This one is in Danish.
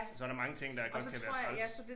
Og så der mange ting der godt kan være træls